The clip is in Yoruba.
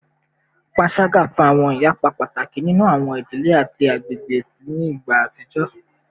Panṣaga fa awọn iyapa pataki ninu awọn idile ati agbegbe ni igba atijọ